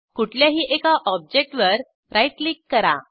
कुठल्याही एका ऑब्जेक्टवर राईट क्लिक करा